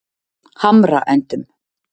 Hamraendum